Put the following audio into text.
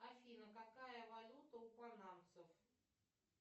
афина какая валюта у панамцев